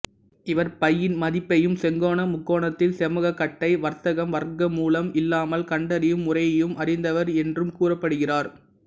இவர் பையின் மதிப்பையும் செங்கோண முக்கோணத்தில் செம்பக்கத்தை வர்க்கம் வர்க்கமூலம் இல்லாமல் கண்டறியும் முறையையும் அறிந்தவர் என்றும் கூறப்படுகிறார்